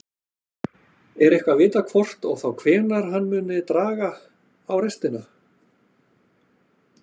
Er eitthvað vitað hvort og þá hvenær hann muni draga á restina?